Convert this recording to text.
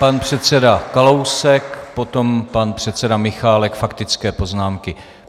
Pan předseda Kalousek, potom pan předseda Michálek - faktické poznámky.